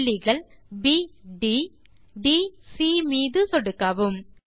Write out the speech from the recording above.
புள்ளிகள் B ட் D C மீது சொடுக்கவும்